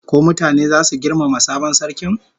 Ko mutane zasu girmama sabon sarkin?